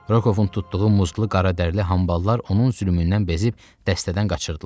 Rokovun tutduğu muzdlu qaradərli hamballar onun zülmündən bezib dəstədən qaçırdılar.